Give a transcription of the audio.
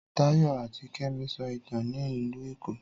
Táyọ̀ àti Kẹ́mi sọ ìtàn ní ìlú Èkó.